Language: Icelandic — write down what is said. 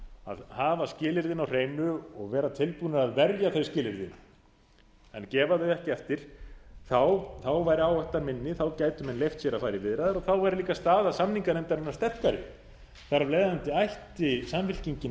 að hafa skilyrðin á hreinu og vera tilbúin að verja þau skilyrði en gefa þau ekki eftir þá væri áhættan minni þá gætu menn leyft sér að fara í viðræður og þá væri líka staða samninganefndarinnar sterkari þar af leiðandi ætti samfylkingin